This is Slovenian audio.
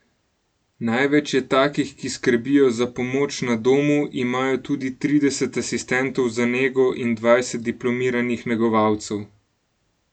Največ je takih, ki skrbijo za pomoč na domu, imajo tudi trideset asistentov za nego in dvajset diplomiranih negovalcev.